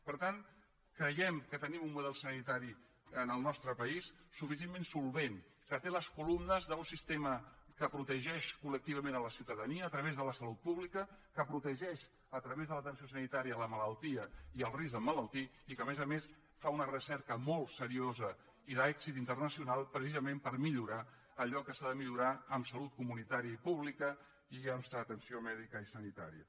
per tant creiem que tenim un model sanitari en el nostre país suficientment solvent que té les columnes d’un sistema que protegeix col·nia a través de la salut pública que protegeix a través de l’atenció sanitària la malaltia i el risc d’emmalaltir i que a més a més fa una recerca molt seriosa i d’èxit internacional precisament per millorar allò que s’ha de millorar en salut comunitària i pública i en atenció mèdica i sanitària